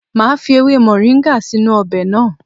Màá fi ewe moringa sínú ọbẹ̀ náà.